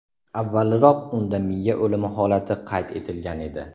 Avvalroq unda miya o‘limi holati qayd etilgan edi.